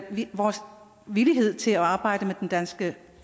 vores villighed til at arbejde med de danske